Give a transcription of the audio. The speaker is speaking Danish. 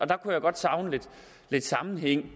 der kunne jeg godt savne lidt sammenhæng